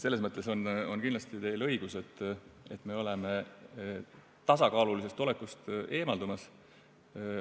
Selles mõttes on teil kindlasti õigus, et me oleme tasakaalulisest olekust eemaldumas.